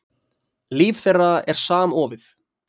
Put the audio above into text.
Líf þeirra er samofið.